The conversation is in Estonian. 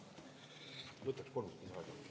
Võtaks kolm minutit lisaaega.